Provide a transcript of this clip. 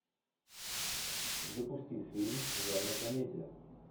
запусти фильм жанра комедия